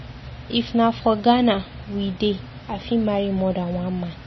If na for Ghana we dey I fit marry more than one man.